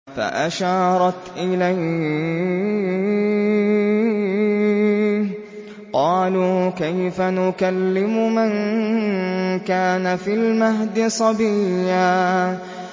فَأَشَارَتْ إِلَيْهِ ۖ قَالُوا كَيْفَ نُكَلِّمُ مَن كَانَ فِي الْمَهْدِ صَبِيًّا